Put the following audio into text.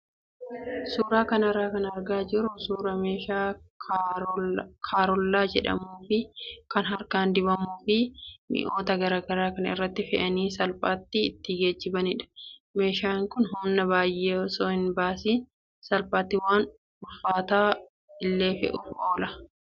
Suuraa kanarraa kan argaa jirru suuraa meeshaa karollaa jedhamuu fi kan harkaan dhiibamuu fi mi'oota garaagaraa kan irratti fe'anii salphaatti itti geejjibanidha. Meeshaan kun humna baay'ee osoo hin baasiin salphaatti waan ulfaataa illee fe'uuf oola.